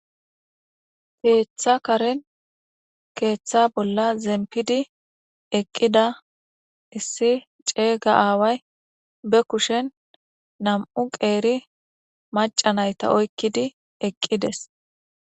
Keeththa karen keeththa bolla zempidi eqqida issi ceega aaway be kushen nam'u qeeri macanayta oykkidi eqqides.